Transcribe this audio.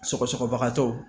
Sɔgɔsɔgɔbagatɔw